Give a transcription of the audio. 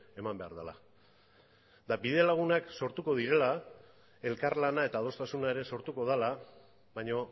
eman behar dela eta bide lagunak sortuko direla elkarlana eta adostasuna ere sortuko dela baina